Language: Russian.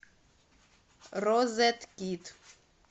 розеткид